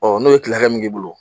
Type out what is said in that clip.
n'o ye tile hakɛ min k'i bolo